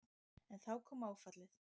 En þá kom áfallið.